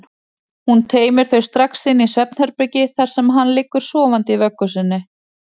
Hún teymir þau strax inn í svefnherbergi þar sem hann liggur sofandi í vöggu sinni.